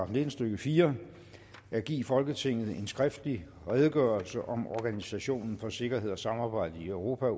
nitten stykke fire at give folketinget en skriftlig redegørelse om organisationen for sikkerhed og samarbejde i europa